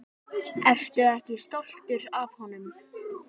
Ertu ekki stoltur af honum?